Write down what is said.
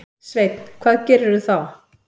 Sveinn: Hvað gerirðu þá?